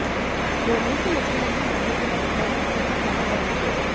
बोम्मई के मुख्यमंत्री बनने के बाद गृहमंत्री का पहला दौरा